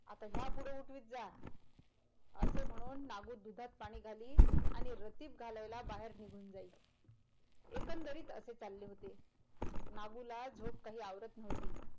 आत्ता ह्या पुढ उठवीत जा असे म्हणून नागो दुधात पाणी घाली आणि रतीब घालायला बाहेर निघून जाई एकंदरीत असे चाले होते नागुला झोप काही आवरत नव्हती.